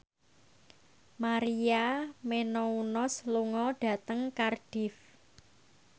Maria Menounos lunga dhateng Cardiff